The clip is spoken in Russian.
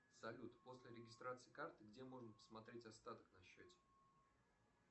салют после регистрации карты где можно посмотреть остаток на счете